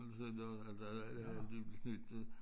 Sådan noget altså at at de blev snydt